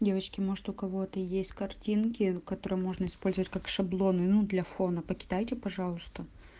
девочки может у кого-то есть картинки которые можно использовать как шаблоны ну для фона покидайте пожалуйста